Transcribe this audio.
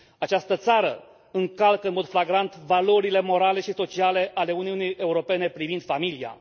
Această țară încalcă în mod flagrant valorile morale și sociale ale Uniunii Europene privind familia.